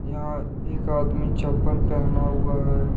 यहां एक आदमी चप्पल पहना हुआ है।